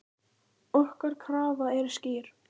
Okkar krafa er skýr.